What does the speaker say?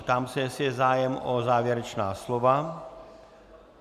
Ptám se, jestli je zájem o závěrečná slova.